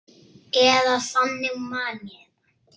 Eða þannig man ég þetta.